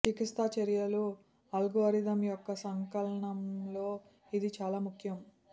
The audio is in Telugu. చికిత్సా చర్యల అల్గోరిథం యొక్క సంకలనంలో ఇది చాలా ముఖ్యం